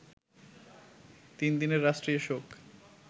তিন দিনের রাষ্ট্রীয় শোক